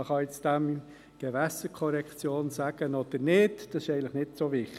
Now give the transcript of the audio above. Man kann dem nun Gewässerkorrektion sagen oder nicht, das ist eigentlich nicht so wichtig.